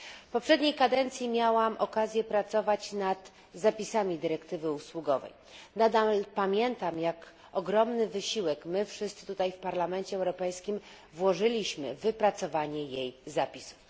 W poprzedniej kadencji miałam okazję pracować nad zapisami dyrektywy usługowej. Nadam pamiętam, jak ogromny wysiłek my wszyscy tutaj w Parlamencie Europejskim włożyliśmy w wypracowanie jej zapisów.